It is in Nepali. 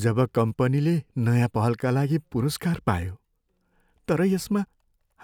जब कम्पनीले नयाँ पहलका लागि पुरस्कार पायो तर यसमा